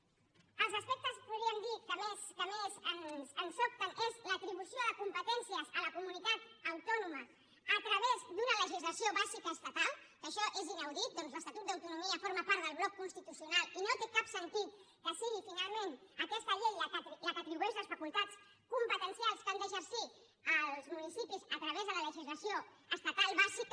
l’aspecte podríem dir que més ens sobta és l’atribució de competències a la comunitat autònoma a través d’una legislació bàsica estatal que això és inaudit ja que l’estatut d’autonomia forma part del bloc constitucional i no té cap sentit que sigui finalment aquesta llei la que atribueixi les facultats competencials que han d’exercir els municipis a través de la legislació estatal bàsica